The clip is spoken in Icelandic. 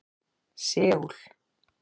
Seúl